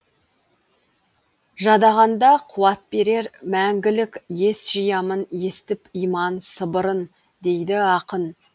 жадағанда қуат берер мәңгілік ес жиямын естіп иман сыбырын дейді ақын